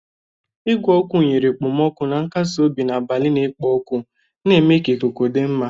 Igwe ọkụ nyere okpomọkụ na nkasi obi n'abalị na-ekpo ọkụ, na-eme ka ikuku dị mma.